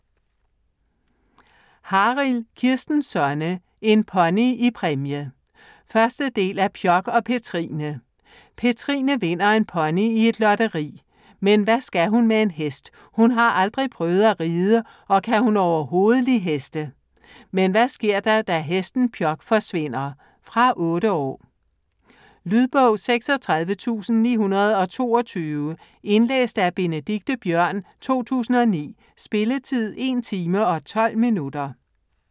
Harild, Kirsten Sonne: En pony i præmie 1. del af Pjok og Petrine. Petrine vinder en pony i et lotteri. Men hvad skal hun med en hest? Hun har aldrig prøvet at ride og kan hun overhovedet li' heste? Men hvad sker der, da hesten Pjok forsvinder? Fra 8 år. Lydbog 36922 Indlæst af Benedikte Biørn, 2009. Spilletid: 1 timer, 12 minutter.